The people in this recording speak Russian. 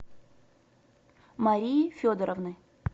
марии федоровны